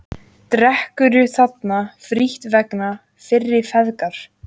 Drekkur þarna frítt vegna fyrri frægðar.